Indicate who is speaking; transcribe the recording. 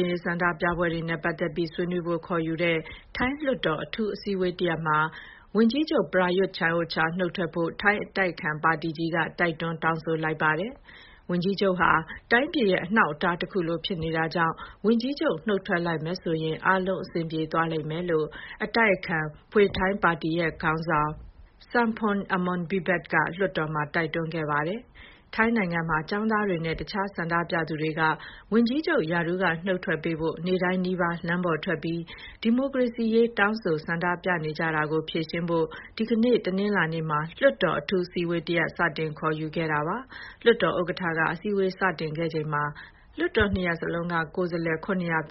Speaker 1: င့်ရေးဆန္ဒပြပွဲတွေနဲ့ ပတ်သက်ပြီးဆွေးနွေးဖို့ ခေါ်ယူတဲ့ ထိုင်းလွှတ်တော်အထူးအစည်းအဝေးတရပ်မှာ ဝန်ကြီးချုပ် Prayuth Chan-ocha နုတ်ထွက်ဖို့ ထိုင်းအတိုက်အခံပါတီကြီးက တိုက်တွန်းတောင်းဆိုလိုက်ပါတယ်။ ဝန်ကြီးချုပ်ဟာ တိုင်းပြည်ရဲ့အနှောက်အတား တခုလို ဖြစ်နေတာကြောင့် ဝန်ကြီးချုပ်နုတ်ထွက်လိုက်မယ်ဆိုရင် အားလုံးအဆင်ပြေသွားလိမ့်မယ်လို့ အတိုက်အခံပါတီ Pheu Thai ပါတီရဲ့ ခေါင်းဆောင် Sompong Amornvivat က လွှတ်တော်တွင်းမှာ တိုက်တွန်းခဲ့ပါတယ်။ ထိုင်းနိုင်ငံမှာ ကျောင်းသားတွေနဲ့ တခြား ဆန္ဒပြသူတွေက ဝန်ကြီးချုပ် ရာထူးကနုတ်ထွက်ပေးဖို့ နေ့တိုင်းနီးပါး လမ်းပေါ်ထွက်ပြီး ဒီမိုကရေစီရေး ဆန္ဒပြတောင်းဆိုနေကြတာကို ဖြေရှင်းဖို့ ဒီကနေ့ တနင်္လာနေ့မှာ လွှတ်တော် အထူးအစည်းအဝေး စတင်ခေါ်ယူခဲ့ပါတာပါ။ လွှတ်တော်ဥက္ကဋ္ဌက အစည်းအဝေးစတင်ခဲ့ချိန်မှာ လွှတ်တော် နှစ်ရပ်လုံးက ကိုယ်စားလှယ် ၇၃၁ ဦးအနက်